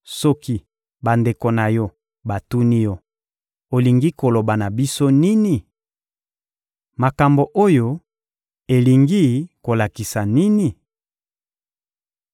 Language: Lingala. Soki bandeko na yo batuni yo: ‹Olingi koloba na biso nini? Makambo oyo elingi kolakisa nini?›